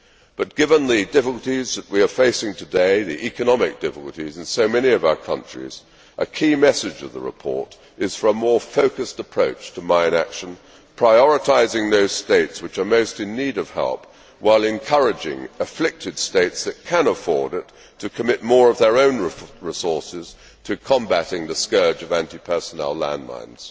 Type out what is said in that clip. But given the difficulties that we are facing today the economic difficulties in so many of our countries a key message of the report is for a more focused approach to mine action, prioritising those states which are most in need of help while encouraging afflicted states that can afford it to commit more of their own resources to combating the scourge of anti personnel landmines.